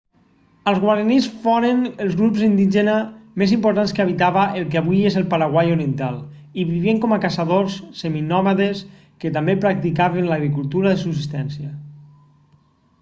els guaranís foren el grup indígena més important que habitava el que avui és el paraguai oriental i vivien com a caçadors seminòmades que també practicaven l'agricultura de subsistència